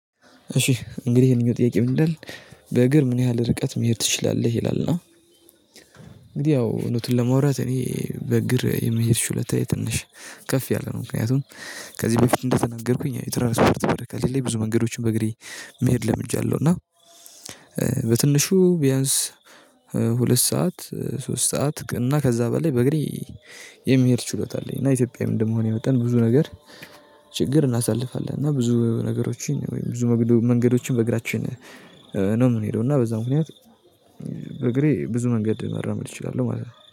እሺ እንግዲህ ይሄንኛው ጥያቄ ምን ይላል በእግር ምን ያህል ርቀት መሄድ ትችላለህ? ይላል እና እንግዲህ ያው እዉነቱን ለመውራት እኔ በእግር የመሄድ ችሎታዬ ትንሽ ከፍ ያለ ነው ምክንያቱም ከዚህ በፊት እንደተናገርኩኝ የትራንስፖርት ብር ከሌለ ብዙ መንገዶችን በእግሬ መሄድ ለምጃለሁ እና በትንሹ ቢያንስ ሁለት ሰዓት ሶስት ሰዓት እና ከዛ በላይ በእግሬ የመሄድ ችሎታ አለኝ እና ኢትዮጵያዊ ምን እንደመሆን የመጣን ብዙ ነገር ችግር እናሳልፋለን እና ብዙ ነገሮችን ወይም ብዙ መንገዶችን በእግራችን ነው የምንሄደው እና በዛ ምክንያት በእግሬ ብዙ መንገድ ማራመድ እችላለሁ ማለት ነው።